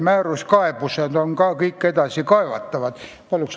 Palun lisaaega!